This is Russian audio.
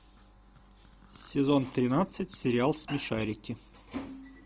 сезон тринадцать сериал смешарики